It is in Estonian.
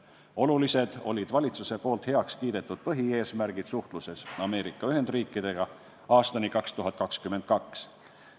Olulised olid valitsuses heaks kiidetud põhieesmärgid suhtluses Ameerika Ühendriikidega aastani 2022.